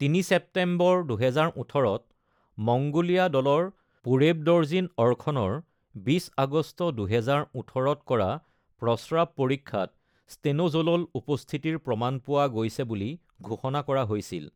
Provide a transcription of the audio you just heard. ৩ September ২০১৮-ত Mongolia দলৰ পুৰেৱডৰ্জিন অৰখনৰ ২০ আগষ্ট ২০১৮ত কৰা প্ৰস্ৰাৱ পৰীক্ষাত ষ্টেন’জ’লল উপস্থিতিৰ প্ৰমাণ পোৱা গৈছে বুলি ঘোষণা কৰা হৈছিল।